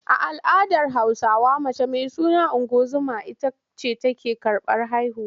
A al’adar Hausawa mace mai suna ungozoma ita ce take karɓar haihuwa.